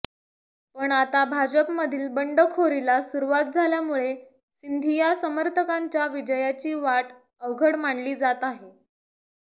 पण आता भाजपमधील बंडखोरीला सुरुवात झाल्यामुळे सिंधिया समर्थकांच्या विजयाची वाट अवघड मानली जात आहे